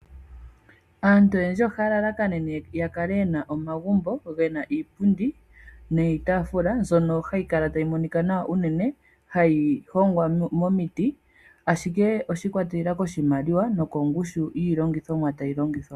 Aantu oyendji ohaya lalakanene yakale yena omagumbo gena iipundi niitaafula mbyono hayi kala tayi monika nawa uunene. Hayi hongwa momiti, ashike oshiikwatelela koshimaliwa nokongushu yiilongithomwa tayi longithwa.